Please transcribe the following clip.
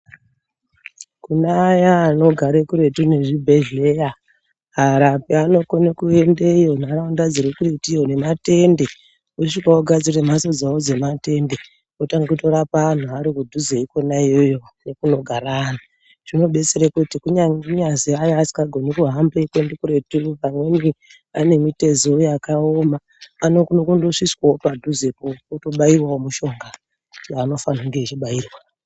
Kune aya anogare kuretu nezvibhedhleya, varapi vanokona kuendayo nharaunda dziri kuretiyo nematende, vosvika kugadzira mhatso dzavo dzematende. votanga kutorapa vantu vari kudhuzeyo ikona iyeyo nekunogara antu zvinobatsira kuti kunyangwe kunyazi hai asingagoni kuhamba kuenda kuretu pamweni mitezo yakaoma anokona kungosviswawo padhuzepo otobaiwawo mushonga waabofanira kubairwa.